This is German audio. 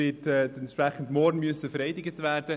Dementsprechend muss sie morgen vereidigt werden.